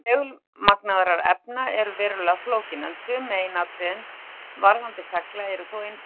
Málefni segulmagnaðra efna eru verulega flókin, en sum meginatriði varðandi segla eru þó einföld.